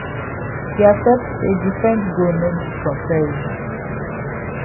he accept say different goal no need comparison